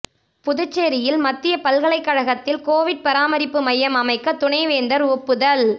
புதுச்சேரியில் மத்திய பல்கலைக்கழகத்தில் கோவிட் பராமரிப்பு மையம் அமைக்க துணைவேந்தர் ஒப்புதல்